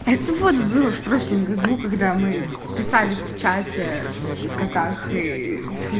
это вот было в прошлом году когда мы списались в чате в котах ии